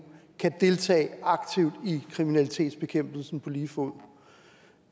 kan deltage aktivt i kriminalitetsbekæmpelsen på lige fod